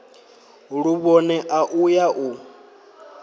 luvhone a u ya u